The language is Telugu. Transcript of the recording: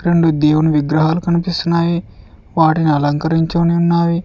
రెండు దేవుని విగ్రహాలు కనిపిస్తున్నాయి వాటిని అలంకరించునన్నవి.